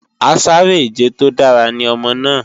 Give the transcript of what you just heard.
Asáré-ìje tó dára ní ọmọ náà